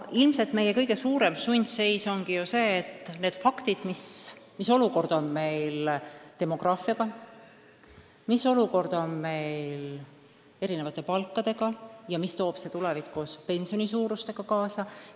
Ilmselt meie kõige suurem sundseis ongi see reaalsus, milline on meie demograafiline olukord ja millised on mitmesugused palgad, mis toovad tulevikus kaasa väikesed pensionid.